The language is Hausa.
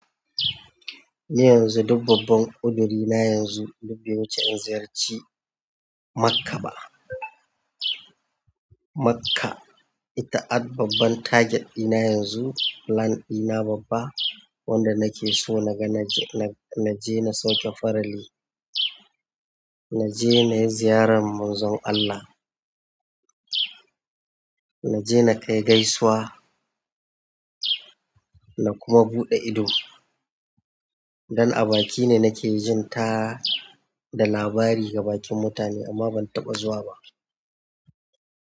Ni yanzu duk babban uduri na yanzu duk bai wuce in ziyarci Makkah ba. Makkah ita at babban target ɗina yanzu. Plan ɗina babba wanda nake so na je na sauka farali. Na je na yi ziyarar munzon Allah. Na je na kai gaisuwa na kuma buɗe ido. Dan a baki ne nake jin ta da labari ga bakin mutane amma ban taɓa zuwa ba.